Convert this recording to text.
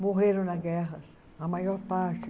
Morreram na guerra, a maior parte.